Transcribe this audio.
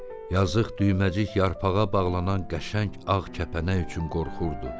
Yazıq Düyməcik yarpağa bağlanan qəşəng ağ kəpənək üçün qorxurdu.